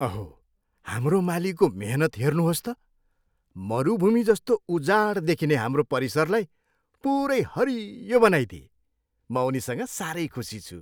अहो! हाम्रो मालीको मेहनत हेर्नुहोस् त! मरुभूमि जस्तो उजाड देखिने हाम्रो परिसरलाई पुरै हरियो बनाइदिए। म उनीसँग साह्रै खुसी छु।